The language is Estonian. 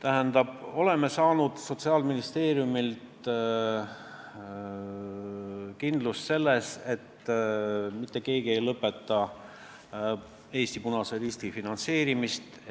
Me oleme saanud Sotsiaalministeeriumilt kinnituse, et mitte keegi ei lõpeta Eesti Punase Risti finantseerimist.